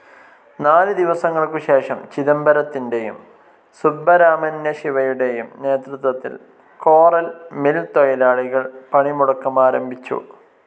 നാല് ദിവസങ്ങൾക്കു ശേഷം ചിദംബരത്തിൻ്റെയും സുബ്ബരാമന്യ ശിവയുടെയും നേതൃത്വത്തിൽ കോറൽ മിൽ തൊഴിലാളികൾ പണി മുടക്കാരംഭിച്ചു.